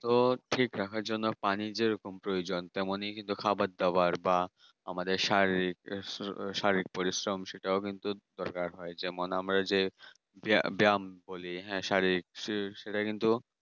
তো ঠিক রাখার জন্য পানি যেরকম প্রয়োজন তেমনি খাওয়া-দাওয়ার বা আমাদের শারীরিক শারীরিক পরিশ্রম সেটাও কিন্তু দরকার হয় যেমন আমরা যে ব্যায়াম ব্যায়াম করি হ্যাঁ শারীরিক সে সেটা কিন্তু